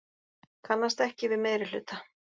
Kannast ekki við meirihluta